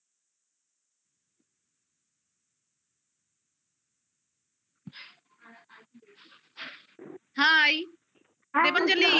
hi Debanjali